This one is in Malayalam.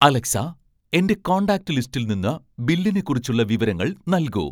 അലെക്സാ എന്റെ കോൺടാക്റ്റ് ലിസ്റ്റിൽ നിന്ന് ബില്ലിനെക്കുറിച്ചുള്ള വിവരങ്ങൾ നൽകൂ